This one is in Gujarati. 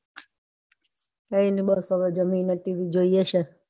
કાયની બસ હવે જમીને TV જોઈંએ છીએ.